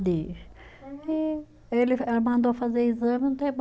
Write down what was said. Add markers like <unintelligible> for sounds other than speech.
<unintelligible> E ele eh mandou fazer exame, não tem <unintelligible>